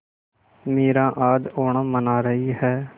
मीरा आज ओणम मना रही है